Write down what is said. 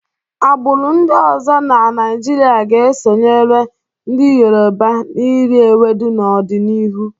Agbụrụ ndị ọzọ na Naịjirịa ga-esonyere ndị Yoruba n'iri ewedu n'ọdịnihu.